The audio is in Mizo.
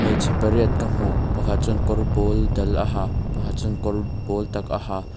hmeichhe pariat ka hmu pakhat chuan kawr pawl dal a ha pakhat chuan kawr pawl tak a ha.